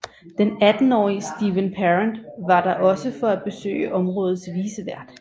Den attenårige Steven Parent var der også for at besøge områdets vicevært